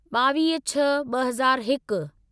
ॿावीह छह ॿ हज़ार हिक